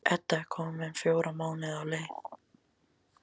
Edda er komin fjóra mánuði á leið.